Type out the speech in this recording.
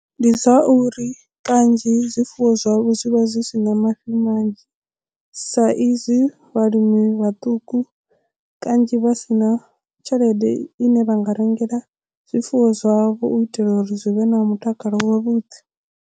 Ndi zwa uri kanzhi zwifuwo zwavho zwi vha zwi si na mafhi manzhi sa izwi vhalimi vhaṱuku kanzhi vha si na tshelede i ne vha nga rengela zwifuwo zwavho u itela uri zwi vhe na mutakalo wavhuḓi.